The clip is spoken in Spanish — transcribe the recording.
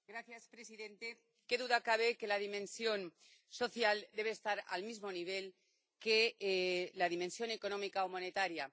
Señor presidente, qué duda cabe de que la dimensión social debe estar al mismo nivel que la dimensión económica o monetaria.